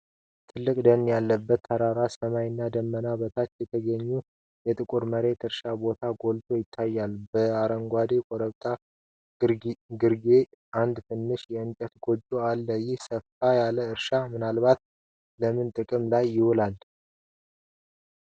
ትልቅ ደን ያለበት ተራራ ሰማይ እና ደመናዎች በታች የተገኘው የጥቁር መሬት እርሻ ቦታ ጎልቶ ይታያል። በአረንጓዴው ኮረብታ ግርጌ አንድ ትንሽ የእንጨት ጎጆ አለ። ይህ ሰፋ ያለ እርሻ ምናልባት ለምን ጥቅም ላይ ይውላል?